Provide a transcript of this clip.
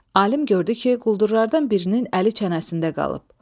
Alim gördü ki, quldurlardan birinin əli çənəsində qalıb.